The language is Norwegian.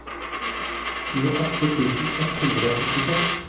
tjueåtte tusen ett hundre og førtiseks